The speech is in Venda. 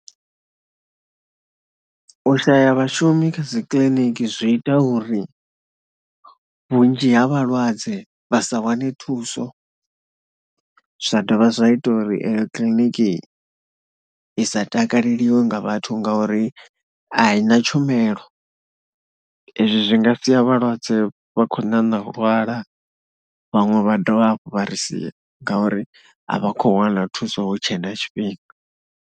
U shaya vhashumi kha dzi kiliniki zwi ita uri vhunzhi ha vhalwadze vha sa wane thuso, zwa dovha zwa ita uri eyo kiḽiniki i sa takaleliwe nga vhathu ngauri a i na tshumelo. Izwo zwi nga sia vhalwadze vha kho ṋaṋa u lwala, vhaṅwe vha dovha hafhu vha sia ngauri a vha khou wana thuso hu tshe na tshifhinga.